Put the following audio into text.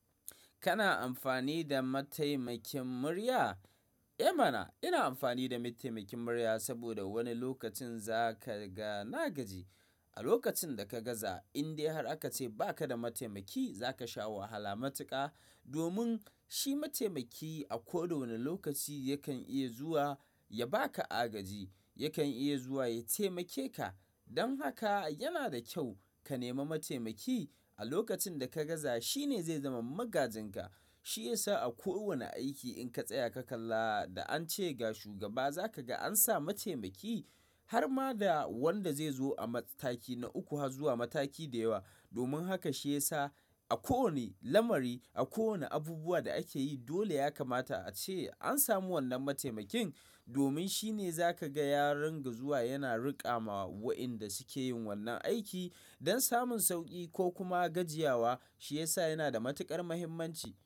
Kana amfani da mataimakin murya? Eh mana! Ina amfani da mataimakin murya saboda wani lokacin za ka ga na gaji. A lokacin da ka gaza in dai har aka ce ba ka da mataimaki za ka sha wahala matuka domin shi mataimaki a koda wane lokaci yakan iya zuwa ya ba ka agaji, yakan iya zuwa ya taimake ka. Don haka yana da kyau ka nema mataimaki. A lokacin da ka gaza shi ne zai zama magajinka. Shi ya sa a ko wane aiki in ka tsaya ka kalla da an ce ga shugaba za ka ga an sa mataimaki har ma da wanda zai zo a mataki na uku har zuwa mataki da yawa. Domin haka shi ya sa a ko wane lamari, a kowane abubuwa da ake yi dole ya kamata a ce an samu wannan mataimakin domin shi ne za ka ga ya rinka zuwa yana riƙa ma wa'inda suke yin wannan aiki don samun sauki ko kuma gajiya wa. Shi ya sa yana da matukar muhimmanci.